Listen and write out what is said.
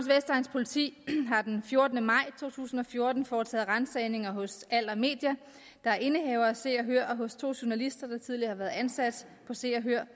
politi har den fjortende maj to tusind og fjorten foretaget ransagninger hos aller media der er indehaver af se og hør og hos to journalister der tidligere har været ansat på se og hør